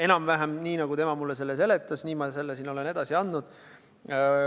Enam-vähem nii, nagu tema mulle seletas, olen ma selle edasi andnud.